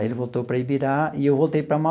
Aí ele voltou para Ibirá e eu voltei para